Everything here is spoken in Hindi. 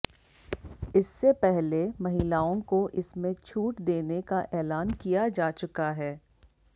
इससे पहले महिलाओं को इसमें छूट देने का ऐलान किया जा चुका है